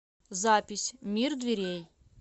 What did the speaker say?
запись мир дверей